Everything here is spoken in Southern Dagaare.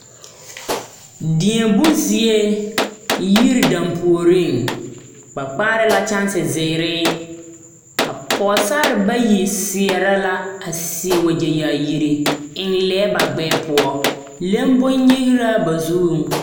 Deɛbo zie yiri dampuoriŋ ba kpaare la kyɛnse zeere a pɔgesare bayi seɛrɛ la a seɛ wagyɛ yaayiri eŋ lɛɛ ba gbɛɛ poɔ leŋ bonnyigraa ba zuŋ.